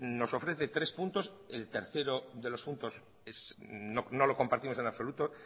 nos ofrece tres puntos el tercero de los puntos no lo compartimos en absoluto